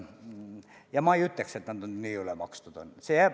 Ja ma ei ütleks, et nad nii ülemakstud on.